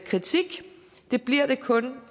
kritik det bliver det kun